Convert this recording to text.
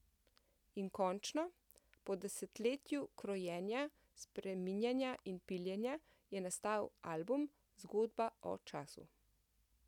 In končno, po desetletju krojenja, spreminjanja in piljenja, je nastal album, zgodba o času.